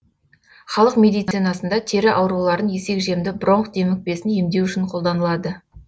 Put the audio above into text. халық медицинасында тері ауруларын есекжемді бронх демікпесін емдеу үшін қолданылады